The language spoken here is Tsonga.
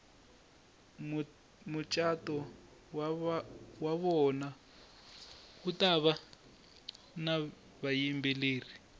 mutjato wavona wutava navayimbeleri